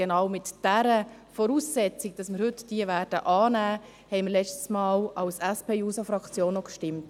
Genau mit dieser Voraussetzung – dass wir sie heute annehmen werden – haben wir das letzte Mal als SP-JUSO-PSA-Fraktion auch abgestimmt.